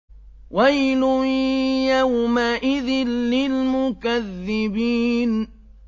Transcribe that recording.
وَيْلٌ يَوْمَئِذٍ لِّلْمُكَذِّبِينَ